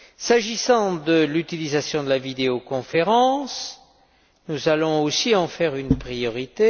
S'agissant de l'utilisation de la vidéoconférence, nous allons aussi en faire une priorité.